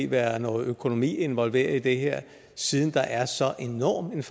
være noget økonomi involveret i det her siden der er en så enormt